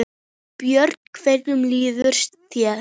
Björn: Hvernig líður þér?